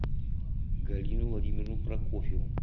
галину владимировну прокофьеву